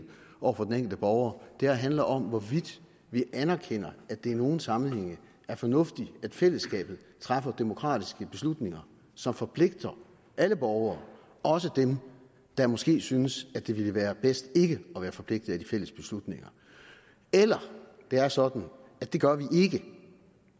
over for den enkelte borger det her handler om hvorvidt vi anerkender at det i nogle sammenhænge er fornuftigt at fællesskabet træffer demokratiske beslutninger som forpligter alle borgere også dem der måske synes det ville være bedst ikke at være forpligtet af de fælles beslutninger eller det er sådan at det gør vi ikke